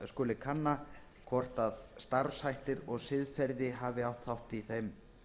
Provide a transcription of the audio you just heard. skuli kanna hvort starfshætti brot siðferði á fjármálamarkaði hafi átt þátt í þeim